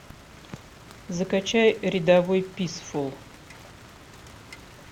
закачай рядовой писфул